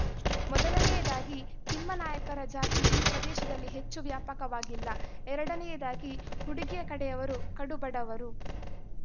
ಮೊದಲನೆಯದಾಗಿ ತಿಮ್ಮಾನಾಯಕರ ಜಾತಿ ಈ ಪ್ರದೇಶದಲ್ಲಿ ಹೆಚ್ಚು ವ್ಯಾಪಕವಾಗಿಲ್ಲ ಎರಡನೆಯದಾಗಿ ಹುಡುಗಿಯಕಡೆಯವರು ಕಡುಬಡವರು